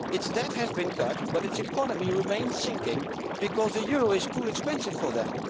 Its debt has been cut but its economy remains sinking because the euro is too expensive for them.